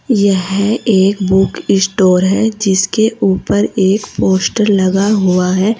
यह एक book store है जिसके ऊपर एक पोस्टर लगा हुआ है।